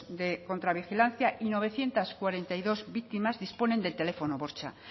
de contra vigilancia y novecientos cuarenta y dos víctimas disponen de teléfono bortxa